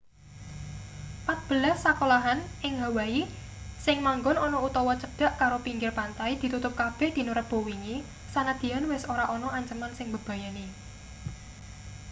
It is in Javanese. patbelas sekolahan ning hawaii sing manggon ana utawa cedhak karo pinggir pantai ditutup kabeh dina rebo wingi sanadyan wis ora ana anceman sing mbebayani